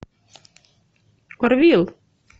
орвилл